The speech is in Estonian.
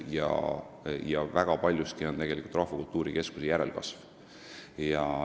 Sealt tuleb väga paljuski tegelikult Rahvakultuuri Keskuse järelkasv.